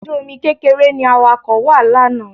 Ọkọ̀ ojú-omi kékeré ni Awakọ̀ wà lánàá